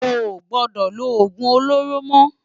Óo gbòdò ló ógún ólóró mò